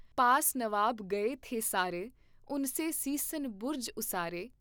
ਪਾਸ ਨਵਾਬ ਗਏ ਥੇ ਸਾਰੇ। ਉਨ ਕੇ ਸੀਸਨ ਬੁਰਜ ਉਸਾਰੇ।